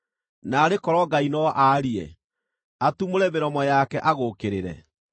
Naarĩ korwo Ngai no aarie, atumũre mĩromo yake agũũkĩrĩre,